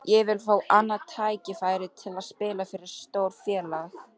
Ég vil fá annað tækifæri til að spila fyrir stórt félag.